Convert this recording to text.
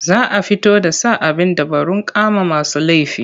Za a fito da sa abin dabarun kama masu laifi.